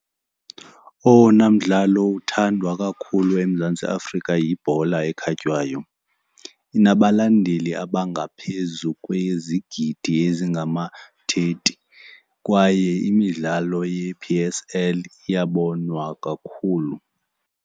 Owona mdlalo uthandwa kakhulu eMzantsi Afrika yibhola ekhatywayo. Inabalandeli abangaphezu kwezigidi ezingama-thirty kwaye imidlalo ye-P_S_L iyabonwa kakhulu.